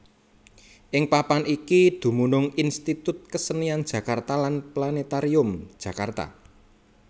Ing papan iki dumunung Institut Kesenian Jakarta lan Planètarium Jakarta